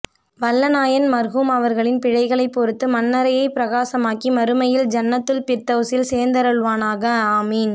வல்ல நாயன் மர்ஹூம் அவர்களின் பிழைகளை பொறுத்து மண்ணறையை பிரகாசமாக்கி மறுமையில் ஜன்னத்துல் பிர்தௌசில் சேர்த்தருள்வானாக ஆமீன்